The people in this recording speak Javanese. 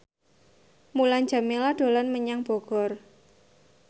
Mulan Jameela dolan menyang Bogor